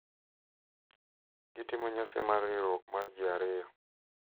Gitimo nyasi mar riwruok mar ji ariyo.